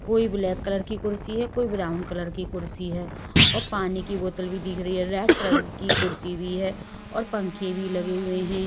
कोई black colour की कुर्सी हैकोई ब्राउन कलर की कुर्सी है और पानी की बोतल भी दिख रही है रेड कलर की कुर्सी भी है और पंखे भी लगे हुए हैं।